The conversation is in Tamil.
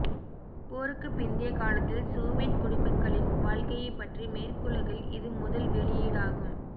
போருக்குப் பிந்திய காலத்தில் சோவியத் குடிமக்களின் வாழ்க்கையைப் பற்றி மேற்குலகில் இது முதல் வெளியீடாகும்